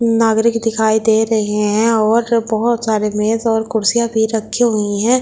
नागरिक दिखाई दे रहे हैं और बहुत सारे मेज और कुर्सियां भी रखी हुई हैं।